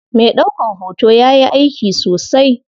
Me ɗaukan hoto yayi aiki sosai.